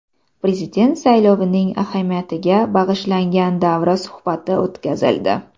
Prezident saylovining ahamiyatiga bag‘ishlangan davra suhbati o‘tkazildi.